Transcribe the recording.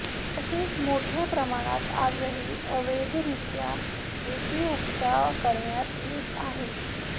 तसेच मोठ्या प्रमाणात आजही अवैधरित्या रेती उपसा करण्यात येत आहे